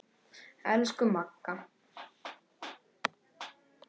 Elsku Magga.